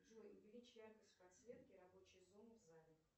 джой увеличь яркость подсветки рабочей зоны в зале